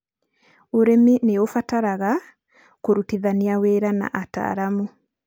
Ũrĩmi nĩ ũbataraga kũrutithanĩa wĩra na ataaramu.